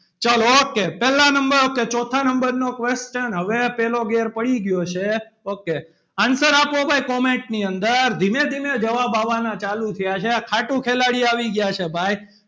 ચાલો okay પહેલા number ok ચોથા number નો question હવે પહેલો ઘેર પડી ગયો છે. okay answer આપો ભાઈ comment ની અંદર ધીમે ધીમે જવાબ આવવાના ચાલુ થયા છે. ખાટુ ખેલાડી આવી ગયા છે. ભાઈ,